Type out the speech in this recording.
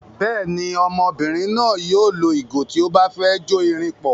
Bẹ́ẹ̀ ni, ọmọbìnrin náà yóò lo ìgò tí ó bá ti fẹ́ jó irin pọ̀.